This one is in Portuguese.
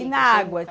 E na água?